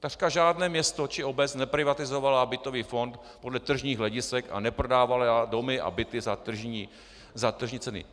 Takřka žádné město či obec neprivatizovaly bytový fond podle tržních hledisek a neprodávaly domy a byty za tržní ceny.